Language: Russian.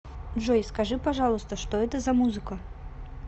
джой скажи пожалуйста что это за музыка